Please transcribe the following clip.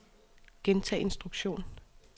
gentag instruktion